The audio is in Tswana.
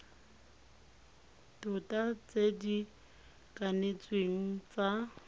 tota tse di kanetsweng tsa